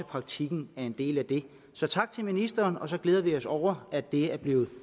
praktikken er en del af det så tak til ministeren og så glæder vi os over at det er blevet